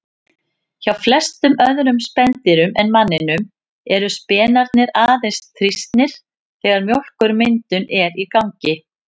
Hjá flestum öðrum spendýrum en manninum eru spenarnir aðeins þrýstnir þegar mjólkurmyndun er í gangi.